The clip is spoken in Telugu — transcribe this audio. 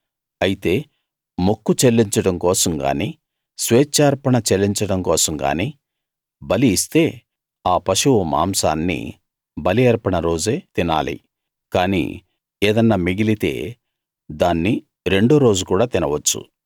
అయితే మొక్కు చెల్లించడం కోసం గానీ స్వేచ్ఛార్పణ చెల్లించడం కోసం గానీ బలి ఇస్తే ఆ పశువు మాంసాన్ని బలి అర్పణ రోజే తినాలి కానీ ఏదన్నా మిగిలితే దాన్ని రెండోరోజు కూడా తినవచ్చు